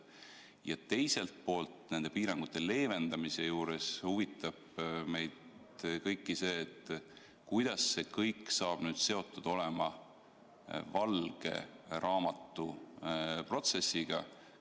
Ja teiselt poolt huvitab meid nende piirangute leevendamise puhul, kuidas see kõik saab seotud olema valge raamatu protsessiga.